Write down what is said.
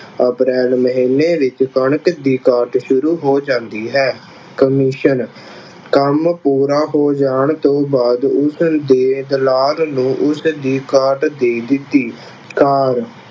April ਮਹੀਨੇ ਵਿੱਚ ਕਣਕ ਦੀ ਕਾਟ ਸ਼ੁਰੂ ਹੋ ਜਾਂਦੀ ਹੈ। ਕਮਿਸ਼ਨ ਕੰਮ ਪੂਰਾ ਹੋ ਜਾਣ ਤੋਂ ਬਾਅਦ ਉਸਦੇ ਨੂੰ ਉਸਦੀ ਕਾਟ ਦੇ ਦਿੱਤੀ। ਕਾਰ